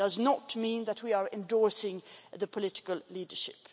It does not mean that we are endorsing the political leadership.